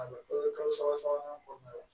kalo saba sabanan kɔnɔna na